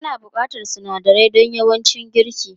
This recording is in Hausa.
Ana buƙatar sunadarai don yawancin girki.